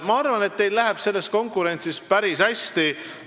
Ma arvan, et teil läheb selles konkurentsis päris hästi.